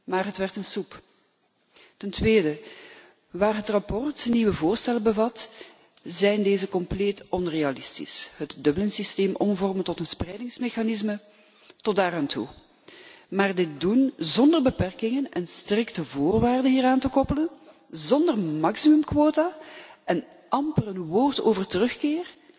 Maar het werd een soep! Ten tweede, waar het verslag nieuwe voorstellen bevat, zijn deze compleet onrealistisch. Het Dublin systeem omvormen tot een spreidingsmechanisme is tot daaraan toe, maar dit doen zonder beperkingen en strikte voorwaarden hieraan te koppelen, zonder maximumquota en amper een woord over terugkeer?